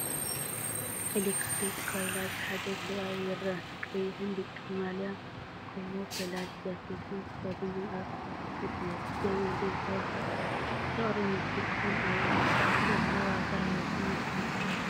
ኤሌክትሪክ ጓይላ ዝሓዘ ሰብኣይ ይረአ። ቀይሕን ብጫን ማልያን ካሞፍላጅ ጃኬትን ተኸዲኑ ኣብ ክፉት መሬት ደው ኢሉ ይጻወት ኣሎ። ፍቕሪ ሙዚቃን ኣብኡ ዘሎ ዋጋ ህይወትን ይስምዖ።